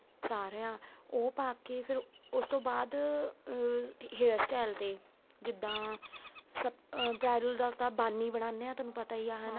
ਸਾਰਿਆਂ ਉਹ ਪਾਕੇ ਫ਼ਿਰ ਉਸ ਤੋ ਬਾਅਦ ਅਹ hair style ਤੇ ਜਿੱਦਾਂ bridal ਦਾ ਤਾਂ ਬੰਨ ਹੀ ਬਣਾਦੇ ਹਾਂ ਤੁਹਾਨੂੰ ਪਤਾ ਹੀ ਹੈਨਾ